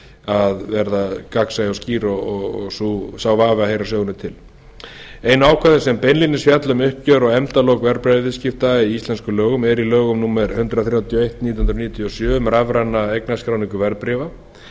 að verða gagnsæ og skýr og sá vafi að heyra sögunni til einu ákvæðin sem beinlínis fjalla um uppgjör og efndalok verðbréfaviðskipta í íslenskum lögum eru í lögum númer hundrað þrjátíu og eitt nítján hundruð níutíu og sjö um rafræna eignarskráningu verðbréfa